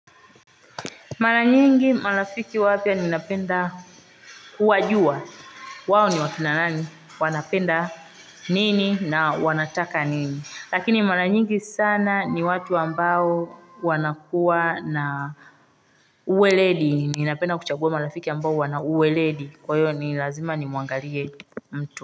Mara nyingi marafiki wapya ninapenda kuwajua, wao ni wakina nani, wanapenda nini na wanataka niniLakini mara nyingi sana ni watu ambao wanakuwa na uweledi, ninapenda kuchagua marafiki ambao wana uweledi, kwa hiyo ni lazima nimwangalie mtu.